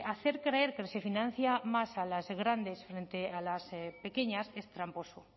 hacer creer que se financia más a las grandes frente a las pequeñas es tramposo